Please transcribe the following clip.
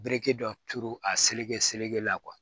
Bereki dɔ turu a seleke selekela